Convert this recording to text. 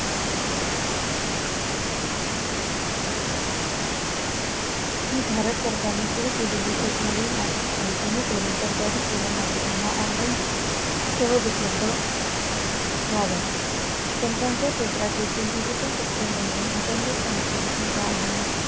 हि भारत सरकारने सुरु केलेली एक मोहीम आहे, जेणेकरून सरकारी सेवा नागरिकांना online सहज उपलब्ध व्हाव्या तंत्राच्या क्षेत्रात देखील digital system म्हणून intenet connectivity वाढणे